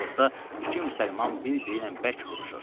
Ortada iki müsəlman bir-biri ilə bərk vuruşur.